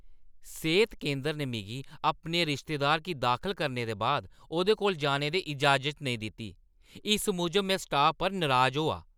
सेह्त केंदरै ने मिगी अपने रिश्तेदारै गी दाखल करने दे बाद ओह्दे कोल जाने दी इजाज़त नेईं दित्ती। इस मूजब में स्टाफ पर नराज होआ ।